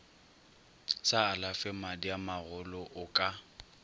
sa alafe madiamagolo o ka